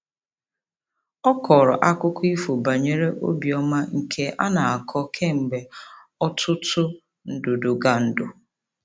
Ọ kọrọ akụkọ ifo banyere obiọma nke a na-akọ kemgbe ọtụtụ ndudugandu.